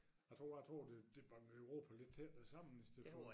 Jeg tror jeg tror det banker Europa lidt tættere sammen hvis det får